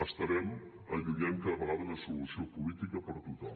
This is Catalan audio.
estarem allunyant cada vegada una solució política per a tothom